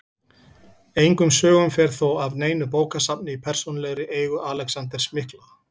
Engum sögum fer þó af neinu bókasafni í persónulegri eigu Alexanders mikla.